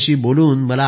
null वाड तुक्कल